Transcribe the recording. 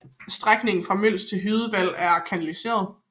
Strækningen fra Mjøls til Hydevad er kanaliseret